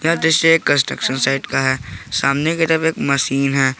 यह दृश्य एक कंस्ट्रक्शन साइट का है सामने की तरफ एक मशीन है।